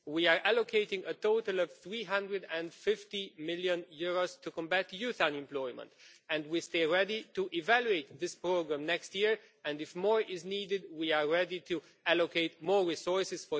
We are allocating a total of EUR 350 million to combat youth unemployment and we stay ready to evaluate this programme next year if more is needed we are ready to allocate more resources.